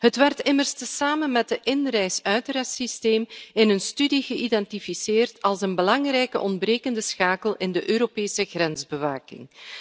Het werd immers samen met het inreis uitrreissysteem in een studie geïdentificeerd als een belangrijke ontbrekende schakel in de Europese grensbewaking.